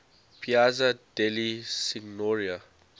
piazza della signoria